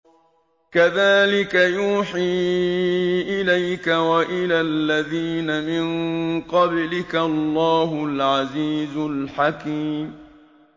كَذَٰلِكَ يُوحِي إِلَيْكَ وَإِلَى الَّذِينَ مِن قَبْلِكَ اللَّهُ الْعَزِيزُ الْحَكِيمُ